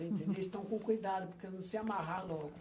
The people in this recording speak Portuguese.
Entendeu? Eles estão com cuidado, porque não se amarrar logo.